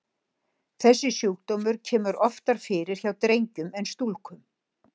Þessi sjúkdómur kemur oftar fyrir hjá drengjum en stúlkum.